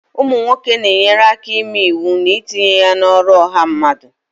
ụmụ nwoke na-enyere aka ịme iwu na itinye ya n'ọrụ ọha mmadụ